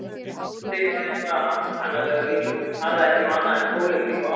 Doddi var eitthvað ankannalegur líka, talaði ekki um annað en pólitík og áróður.